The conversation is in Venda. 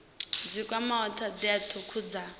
dzi kwamaho thodea thukhu dza